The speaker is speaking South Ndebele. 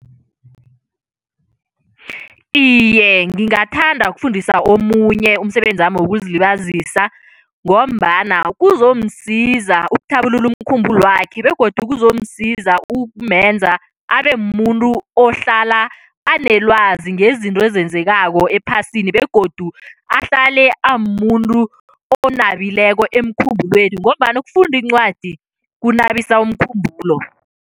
Iye, ngingathanda ukufundisa omunye umsebenzami wokuzilibazisa ngombana kuzomsiza ukuthabulula umkhumbulwakhe begodu kuzomsiza ukumenza abe mumuntu ohlala anelwazi ngezinto ezenzekako ephasini begodu ahlale amumuntu onabileko emkhumbulweni ngombana ukufunda iincwadi kunabisa umkhumbulo.